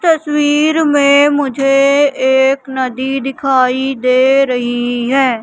तस्वीर में मुझे एक नदी दिखाई दे रही है।